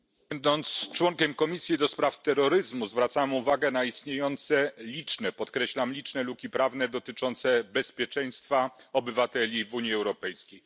Panie Przewodniczący! Będąc członkiem komisji do spraw terroryzmu, zwracam uwagę na istniejące liczne podkreślam liczne luki prawne dotyczące bezpieczeństwa obywateli w Unii Europejskiej.